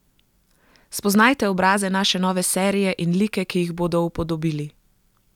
Spoznajte obraze naše nove serije in like, ki jih bodo upodobili!